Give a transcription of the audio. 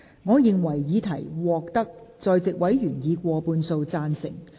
我認為議題獲得在席委員以過半數贊成。